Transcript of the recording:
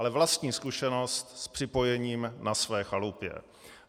Ale vlastní zkušenost s připojením na své chalupě.